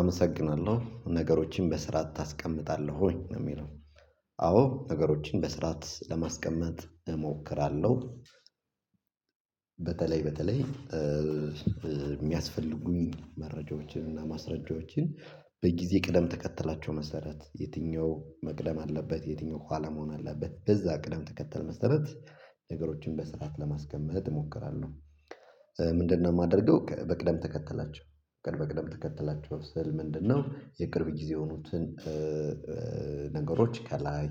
አመሰግናለሁ ነገሮችን በስርዓት ታስቀምጣለህ ወይ ነው የሚለው? አዎ ነገሮችን በስርዓት ለማስቀመጥ እሞክራለሁ። በተለይ በተለይ የሚያስፈልጉኝ መረጃዎችን እና ማስረጃዎችን። በጊዜ ቀደም ተከትላቸው መሰረት የትኛው መቅደም አለበት የትኛው ኋላ መሆን አለበት በዛ ቅደም ተከተል መሰረት። ነገሮችን በስርዓት ለማስቀመጥ እሞክራለሁ። ምንድነው የማደርገው በቅደም ተከተላቸው ቅድመ ቅደም ተከተላቸው ስል ምንድነው የቅርብ ጊዜ የሆኑትን? ነገሮች ከላይ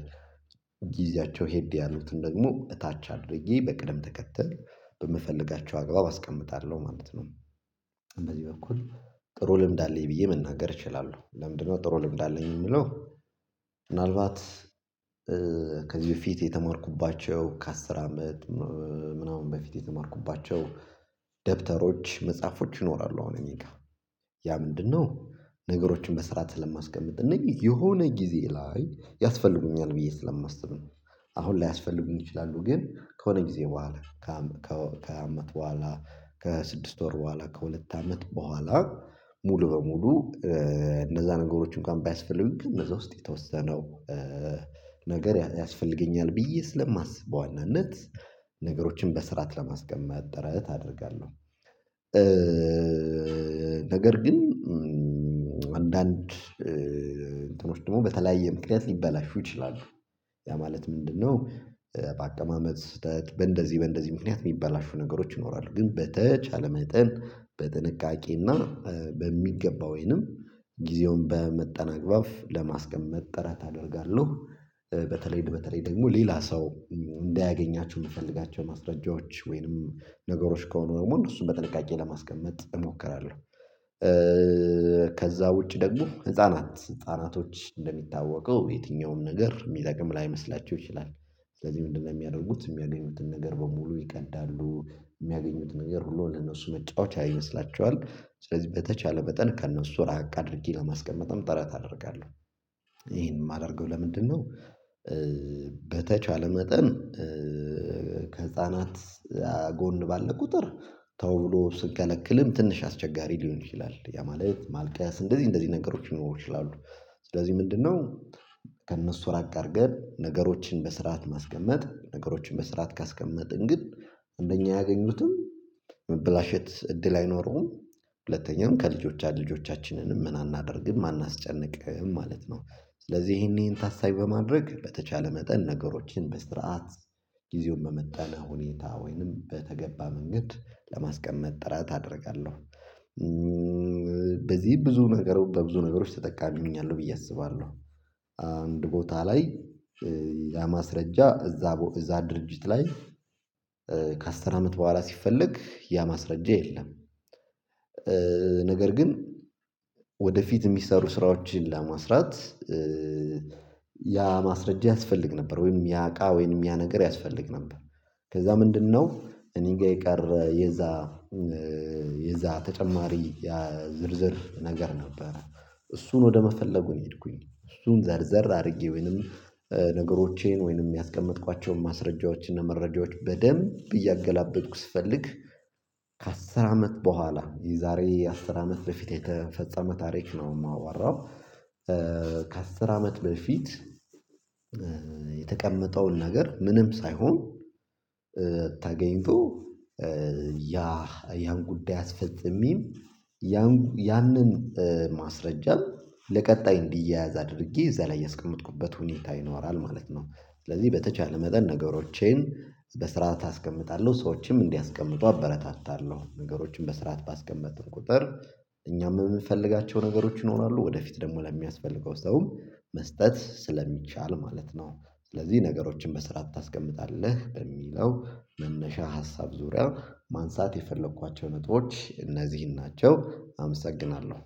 ጊዜያቸው ሄድ ያሉትን ደግሞ እታች አድርጌ በቅደም ተከተል በምፈልጋቸው አግባብ አስቀምጣለሁ ማለት ነው። በዚህ በኩል ጥሩ ልምድ አለኝ ብዬ መናገር እችላለሁ። ለምንድነው ጥሩ ልምድ አለኝ የምለው? ምናልባት ከዚህ በፊት የተማርኩባቸው ከአስር አመት ምናምን በፊት የተማርኩባቸው ደብተሮች መጽሐፎች ይኖራሉ። አሁን እኔ ጋር ያ ምንድነው ነገሮችን በስራት ስለማስቀምጥ እነኘህ የሆነ ጊዜ ላይ ያስፈልጉኛል ብዬ ስለማስብ ነው። አሁን ላያስፈልጉኝ ይችላሉ ግን ከሆነ ጊዜ በኋላ ከሃያ አመት በኋላ ከስድስት ወር በኋላ ከሁለት አመት በኋላ ሙሉ በሙሉ። እነዛ ነገሮችን እንኳን ባያስፈልጉኝ ከነዛ ውስጥ የተወሰነው ነገር ያስፈልገኛል ብዬ ስለማስብ በዋናነት ነገሮችን በስርዓት ለማስቀመጥ ጥረት አደርጋለሁ። ነገር ግን አንዳንድ እንትኖች ደግሞ በተለያየ ምክንያት ሊባላሹ ይችላሉ። ያ ማለት ምንድነው በአቀማመጥ ስህተት በእንደዚህ በእንደዚህ ምክንያት የሚባላሹ ነገሮች ይኖራሉ። ግን በተቻለ መጠን በጥንቃቄና በሚገባ ወይንም ጊዜውን በመጠን አግባብ ለማስቀመጥ ጥረት አደርጋለሁ። በተለይ በተለይ ደግሞ ሌላ ሰው እንዳያገኛቸው የምፈልጋቸው ማስረጃዎች ወይንም ነገሮች ከሆኑ ደግሞ እነሱን በጥንቃቄ ለማስቀመጥ እሞክራለሁ። ከዛ ውጪ ደግሞ ህፃናት ህፃናቶች እንደሚታወቀው የትኛውም ነገር የሚጠቅም ላይመስላቸው ይችላል። ስለዚህ ምንድነው የሚያደርጉት የሚያገኙትን ነገር በሙሉ ይቀዳሉ የሚያገኙትን ነገር ሁሉ ለእነሱ መጫወቻ ይመስላቸዋል ስለዚህ በተቻለ በጠን ከእነሱ ራቅ አድርጌ ለማስቀመጥም ጥረት አደርጋለሁ። ይሄን የማደርገው ለምንድነው? በተቻለ መጠን ከህፃናት ጎን ባለ ቁጥር ተው ብሎ ስትከለክልም ትንሽ አስቸጋሪ ሊሆን ይችላል ያ ማለት ማልቀስ እንደዚህ እንደዚህ ነገሮች ሊኖሩ ይችላሉ። ስለዚህ ምንድነው? ከእነሱ ራቅ አድርገን ነገሮችን በስርዓት ማስቀመጥ ነገሮችን በስርዓት ካስቀመጥን ግን አንደኛ ያገኙትም መበላሸት እድል አይኖረውም። ሁለተኛም ከልጆቻችን ልጆቻችንንም ምን አናደርግም አናስጨንቅም ማለት ነው። ስለዚህ ይሄን ይሄን ታሳቢ በማድረግ በተቻለ መጠን ነገሮችን በስርዓት ጊዜውን መመጠን ሁኔታ ወይንም በተገባ መንገድ ለማስቀመጥ ጥራት አደርጋለሁ። በዚህ ብዙ ነገሮች በብዙ ነገሮች ተጠቃሚ ሁኛለሁ ብዬ አስባለሁ። አንድ ቦታ ላይ ያ ማስረጃ እዛ እዛ ድርጅት ላይ ከአስር አመት በኋላ ሲፈለግ ያ ማስረጃ የለም። ነገር ግን ወደፊት የሚሰሩ ስራዎችን ለማስራት ያ ማስረጃ ያስፈልግ ነበር ወይም ያቃ ወይም ያ ነገር ያስፈልግ ነበር። ከዛ ምንድነው እኔ ጋር የቀረ የዛ የዛ ተጨማሪ ያ ዝርዝር ነገር ነበረ። እሱን ወደ መፈለጉ ሄድኩኝ እሱን ዘርዘር አድርጌ ወይንም ነገሮቼን ወይንም ያስቀመጥኳቸውን ማስረጃዎች እና መረጃዎች በደንብ እያገላበጥኩ ስፈልግ ከአስር አመት በኋላ የዛሬ አስር አመት በፊት የተፈጸመ ታሪክ ነው የማዋራው። ከአስር አመት በፊት የተቀመጠውን ነገር ምንም ሳይሆን ተገኝቶ ያ ያን ጉዳይ አስፈጽሜም ያን ያንን ማስረጃ ለቀጣይ እንዲያያዝ አድርጌ እዛ ላይ ያስቀመጥኩበት ሁኔታ ይኖራል ማለት ነው። ስለዚህ በተቻለ መጠን ነገሮቼን በስርዓት አስቀምጣለሁ ሰዎችም እንዲያስቀምጡ አበረታታለሁ ነገሮችን በስርዓት ባስቀመጥን ቁጥር እኛም የምንፈልጋቸው ነገሮች ይኖራሉ ወደፊት ደግሞ ለሚያስፈልገው ሰውም መስጠት ስለሚቻል ማለት ነው። ስለዚህ ነገሮችን በስራት ታስቀምጣለህ በሚለው መነሻ ሀሳብ ዙሪያ ማንሳት የፈለኳቸው ነጥቦች እነዚህን ናቸው። አመሰግናለሁ